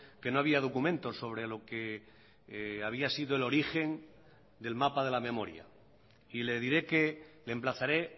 que no había documentos sobre lo que había sido el origen del mapa de la memoria y le diré que le emplazaré